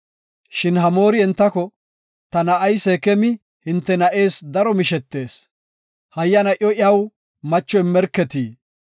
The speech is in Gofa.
Shin Hamoori entako, “Ta na7ay Seekemi hinte na7ees daro mishetees, hayyana iyo iyaw macho immerketi.